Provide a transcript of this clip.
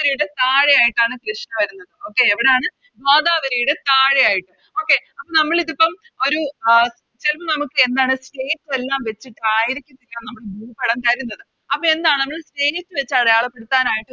രിയുടെ താഴെയായിട്ടാണ് കൃഷ്ണ വരുന്നത് Okay എവിടാണ് ഗോദാവരിയുടെ താഴെയായിട്ട് Okay നമ്മളിതിപ്പം ഒര് എന്താണ് എല്ലാം വെച്ചിട്ട് ആയിരിക്കത്തില്ല നമുക്ക് ഭൂപടം തരുന്നത് അപ്പൊ എന്താണ് വച്ചിട്ട് അടയാളപ്പെടുത്താനായിട്ട്